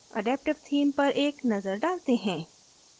adaptive theme पर एक नज़र डालते हैं